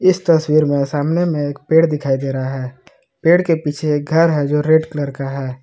इस तस्वीर में सामने में एक पेड़ दिखाई दे रहा है पेड़ के पीछे घर है जो रेड कलर का है।